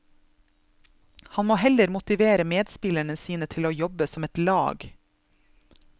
Han må heller motivere medspillerne sine til å jobbe som et lag.